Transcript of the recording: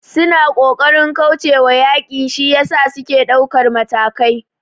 Suna kokarin kaucewa yaki shiyasa suke daukar matakai